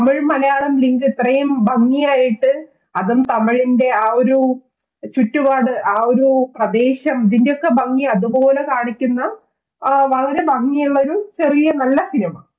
Tamil Malayalam link ഇത്രയും ഭംഗിയായിട്ട് അതും തമിഴിന്റെ ആ ഒരു ചുറ്റുപാട് ആ ഒരു പ്രദേശം ഇതിന്റെയൊക്കെ ഭംഗി അതുപോലെ കാണിക്കുന്ന വളരെ ഭംഗിയുള്ള ഒരു ചെറിയ നല്ല cinema